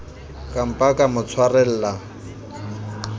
ka mpa ka mo tshwarela